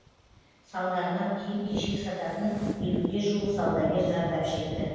салдарынан киім кешек сататын елуге жуық саудагер зардап шекті